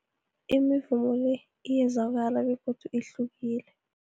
Imivumo le iyezwakala begodu ihlukile.